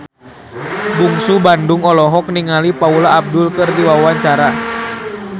Bungsu Bandung olohok ningali Paula Abdul keur diwawancara